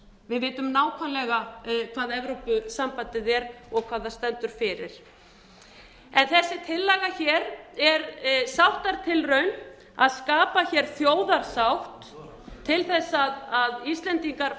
við vitum nákvæmlega hvað evrópusambandið er og hvað það stendur fyrir en þessi tillaga hér er sáttatilraun til að skapa hér þjóðarsátt til þess að íslendingar